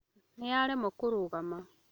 Nĩ aremwo kũrũgama